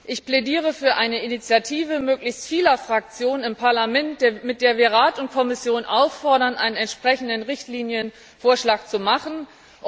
Ich plädiere für eine Initiative möglichst vieler Fraktionen im Parlament, mit der wir Rat und Kommission auffordern, einen entsprechenden Richtlinienvorschlag vorzulegen.